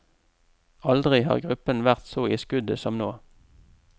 Aldri har gruppen vært så i skuddet som nå.